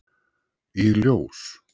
Í ljós